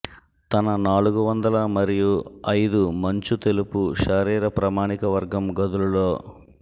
తన నాలుగు వందల మరియు ఐదు మంచు తెలుపు శరీర ప్రామాణిక వర్గం గదులు లో